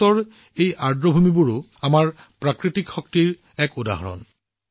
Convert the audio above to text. ভাৰতৰ এই আৰ্দ্ৰভূমিবোৰো আমাৰ প্ৰাকৃতিক সম্ভাৱনাৰ এক উদাহৰণ